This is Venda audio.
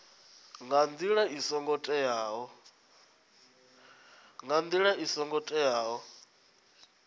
nga ndila i songo teaho